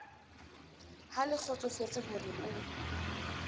ha le kgotsofetse hore o